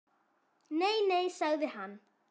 Nei, nei sagði hann.